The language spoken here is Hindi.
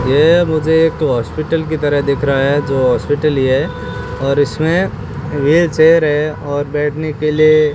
ये मुझे एक हॉस्पिटल की तरह दिख रहा है जो हॉस्पिटल ही है और इसमें व्हील चेयर है और बैठने के लिए --